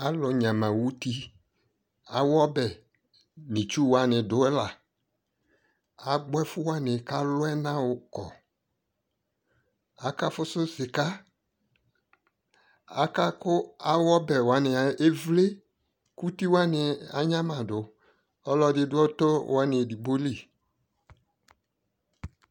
Alʋ nyama uti awu ɔbɛ nʋ itsu wani dʋ yɛ la agbɔ ɛfuwani kʋ alʋ ɛna yɔkɔ Akafusu sika Aka kʋ awʋ ɔbɛ wani evle kʋ uti wani anyamadʋ Ɔlʋɔdι dʋ ɔtɔ wani edigbo lι